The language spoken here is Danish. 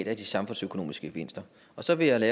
af de samfundsøkonomiske gevinster og så vil jeg